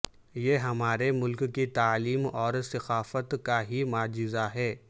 یہ ہمارے ملک کی تعلیم اور ثقافت کا ہی معجزہ ہے